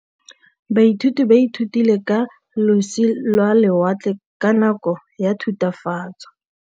Baithuti ba ithutile ka losi lwa lewatle ka nako ya Thutafatshe.